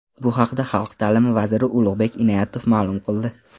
Bu haqda Xalq ta’limi vaziri Ulug‘bek Inoyatov ma’lum qildi.